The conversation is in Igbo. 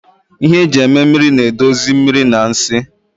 Ihe eji eme mmiri na-edozi mmiri na nsị